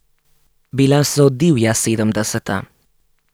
Bila so divja sedemdeseta.